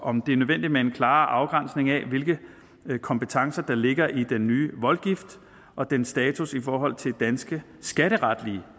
om det er nødvendigt med en klarere afgrænsning af hvilke kompetencer der ligger i den nye voldgift og dens status i forhold til danske skatteretlige